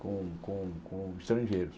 com com com estrangeiros.